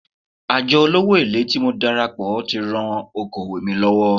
Àjọ olówó èlé tí mo darapọ̀ tí ran okòwò mi lọ́wọ́.